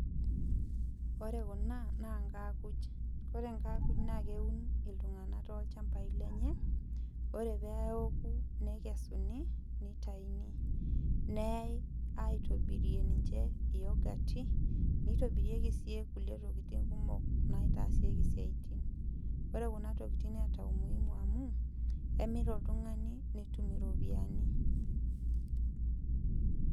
Ore kuna, naa nkaakuj. Ore nkaakuj, na keuni iltung'anak tolchambai lenye, ore peoku nekesuni, nitayuni. Neai aitobirie ninche iyogati, nitobirieki si kulie tokiting kumok naitaasieki isiaitin. Ore kuna tokiting neeta umuhimu amu, kemir oltung'ani netum iropiyiani.